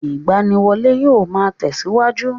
Ìgbaniwọlé yóò máa tẹ̀síwájú.